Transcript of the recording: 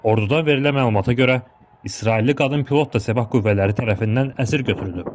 Ordudan verilən məlumata görə İsrailli qadın pilot da səbah qüvvələri tərəfindən əsir götürülüb.